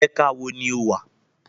Ẹ̀ka wo ni o wà?